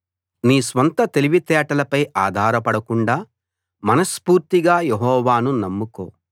నీ స్వంత తెలివితేటలపై ఆధారపడకుండా మనస్ఫూర్తిగా యెహోవాను నమ్ముకో